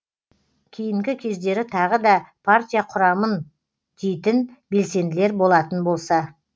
кейінгі кездері тағы да партия құрамын дейтін белсенділер болатын болса